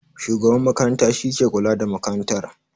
Shugaban makaranta shi ke kula da makarantar